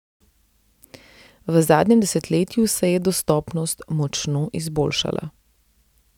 V zadnjem desetletju se je dostopnost močno izboljšala.